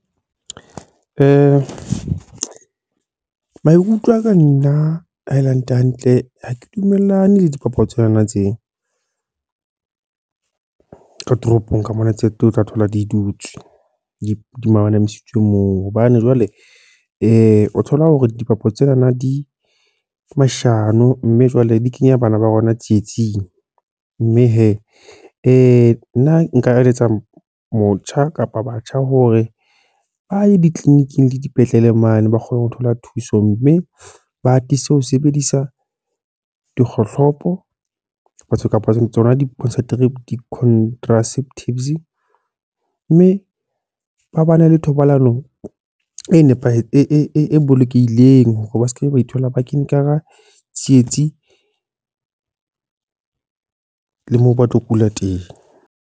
Maikutlo a ka nna haele hantle-hantle, ha ke dumellane le dipapadi tsena ka toropong kamona tse teng o tla thola di dutswe, di manamisitswe moo. Hobane jwale o thola hore dipapatso tsenana di mashano mme jwale di kenya bana ba rona tsietsing. Mme he, nna nka eletsa motjha kapa batjha hore ba ye di-clini- ing le dipetlele mane ba kgone ho thola thuso. Mme ba atise ho sebedisa dikgohlopo, batho kapa tsona di-contraceptives. Mme ba ba ne le thobalano e nepahetseng e bolokehileng hore ba sekebe ba ithola ba kene ka hara tsietsi le moo ba tlo kula teng.